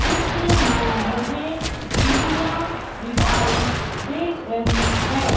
चित्र में मुझे सीढ़ियां दिखाई दे रही हैं।